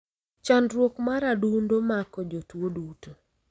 Chandruok mar adundo mako jo tuo duto.